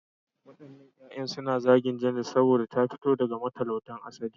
Waɗannan 'yan matan suna zagin Janet saboda ta fito daga matalautan asali.